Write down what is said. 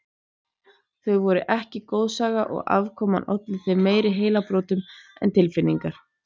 Þau voru ekki goðsaga og afkoman olli þeim meiri heilabrotum en tilfinningarnar.